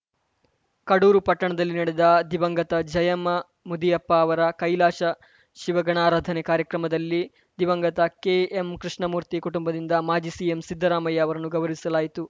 ಕಡೂರು ಪಟ್ಟಣದಲ್ಲಿ ನಡೆದ ದಿವಂಗತ ಜಯಮ್ಮ ಮುದಿಯಪ್ಪ ಅವರ ಕೈಲಾಸ ಶಿವಗಣಾರಾಧನೆ ಕಾರ್ಯಕ್ರಮದಲ್ಲಿ ದಿವಂಗತ ಕೆಎಂ ಕೃಷ್ಣಮೂರ್ತಿ ಕುಟುಂಬದಿಂದ ಮಾಜಿ ಸಿಎಂ ಸಿದ್ದರಾಮಯ್ಯ ಅವರನ್ನುಗೌರವಿಸಲಾಯಿತು